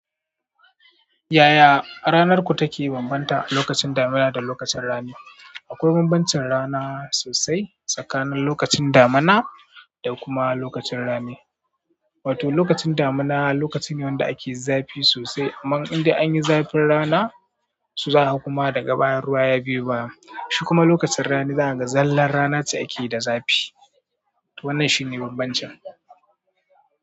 Yaya ranarku take bambanta lokacin damina da lokacin rani? Akwai banbancin rana sosai, tsakanin lokacin damina da kuma rani. Wato lokacin damina lokacin ne wanda ake zafi sosai. Aman inda an yi zafin rana su za a kuma da gaban ruwa ya biyo baya. Shi kuma lokacin rani za a ga zallan rana ce ake da zafi. To wannan shine bambancin.